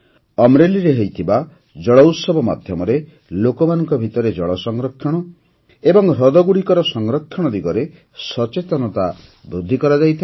ଅମରେଲିରେ ହୋଇଥିବା ଜଳ ଉତ୍ସବ ମାଧ୍ୟମରେ ଲୋକମାନଙ୍କ ଭିତରେ ଜଳ ସଂରକ୍ଷଣ ଏବଂ ହ୍ରଦଗୁଡ଼ିକର ସଂରକ୍ଷଣ ଦିଗରେ ସଚେତନତା ବୃଦ୍ଧି କରାଯାଇଥାଏ